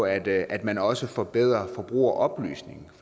at at man også forbedrer forbrugeroplysningen